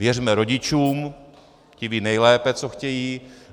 Věřme rodičům, ti vědí nejlépe, co chtějí.